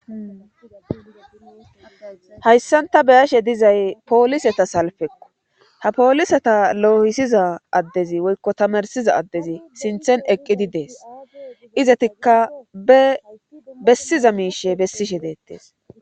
hayssanta beyashe dizay pooliseta salfekku ha pooliseta loyisiza addezi woykko tamarsiza addezi sinthen eqqidi dees izatikka be bessiza miishe bessishe deettees